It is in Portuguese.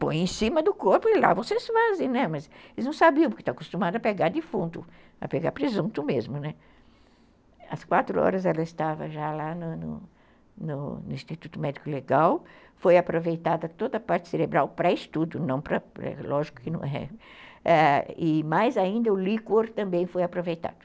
Põe em cima do corpo e lá vocês fazem, né, mas eles não sabiam porque estão acostumados a pegar defunto, a pegar presunto mesmo, né, às quatro horas ela estava já lá no no no Instituto Médico Legal foi aproveitada toda a parte cerebral pré-estudo lógico que não é e mais ainda o licor também foi aproveitado